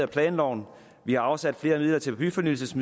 planloven vi har afsat flere midler til byfornyelse